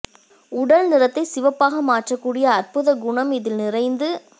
உடல் நிறத்தை சிவப்பாக மாற்றக் கூடிய அற்புதக் குணம் இதில் நிறைந்து